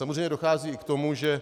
Samozřejmě dochází i k tomu, že